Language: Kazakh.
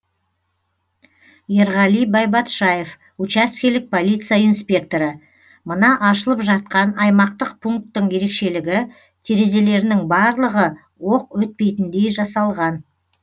ерғали байбатшаев учаскелік полиция инспекторы мына ашылып жатқан аймақтық пунктің ерекшелігі терезелерінің барлығы оқ өтпейтіндей жасалған